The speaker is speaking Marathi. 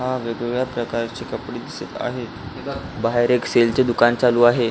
हा वेगवेगळ्या प्रकारचे कपडे दिसत आहेत बाहेर एक सेल चे दुकान चालू आहे.